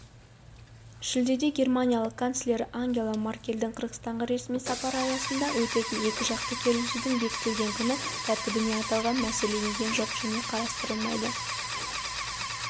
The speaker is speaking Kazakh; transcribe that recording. шілдеде германия канцлері ангела меркельдің қырғызстанға ресми сапары аясында өтетін екіжақты кездесудің бекітілген күн тәртібіне аталған мәселе енген жоқ және қарастырылмайды